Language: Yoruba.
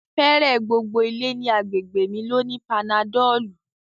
Fẹẹrẹ gbogbo ilẹ̀ ni àgbégbe mi ló ní panadọlù